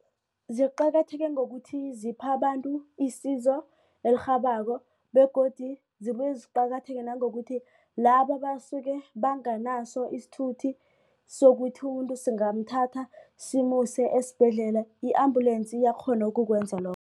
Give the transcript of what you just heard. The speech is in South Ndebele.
Ziqakatheke ngokuthi zipha abantu isizo elirhabako begodu zibuye ziqakatheke nangokuthi labo basuke banganaso isithuthi sokuthi umuntu singathatha simuse esibhedlela i-ambulance iyakghona ukukwenza lokho.